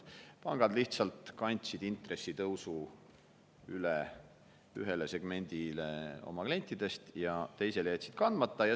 Pangad lihtsalt kandsid intressitõusu üle ühele segmendile oma klientidest ja teisele jätsid kandmata.